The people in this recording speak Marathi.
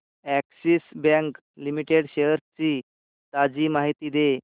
अॅक्सिस बँक लिमिटेड शेअर्स ची ताजी माहिती दे